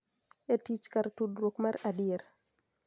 E tich kar tudruok mar adier.